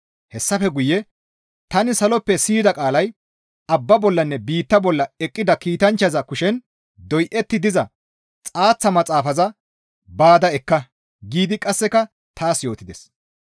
Hessafe guye tani saloppe siyida qaalay, «Abbaa bollanne biittaa bolla eqqida kiitanchchaza kushen doyetti diza xaaththa maxaafaza baada ekka!» giidi qasseka taas yootides.